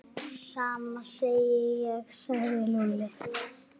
Sama segi ég sagði Lúlli.